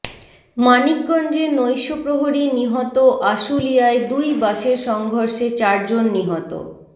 মানিকগঞ্জে নৈশপ্রহরী নিহত আশুলিয়ায় দুই বাসের সংঘর্ষে চারজন নিহত